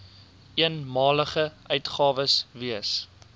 eenmalige uitgawes wees